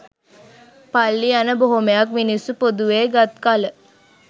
පල්ලි යන බොහොමයක් මිනිස්සු පොදුවේ ගත් කල